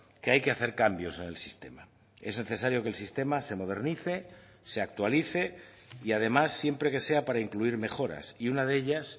que hay que hacer cambios en el sistema es necesario que el sistema se modernice se actualice y además siempre que sea para incluir mejoras y una de ellas